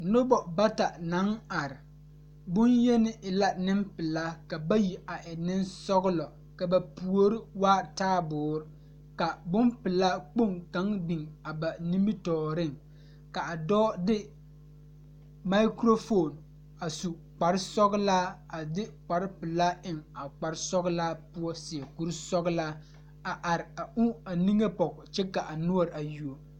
Noba bata naŋ are bonyeni e la nempelaa ka bayi a e nensɔglɔ ka ba puori waa taaboore ka bompelaa kpoŋ kaŋ biŋ a ba nimitɔɔreŋ k,a dɔɔ de makurofoni a su kparesɔglaa a de kparepelaa eŋ a kparesɔglaa poɔ seɛ kurisɔglaa.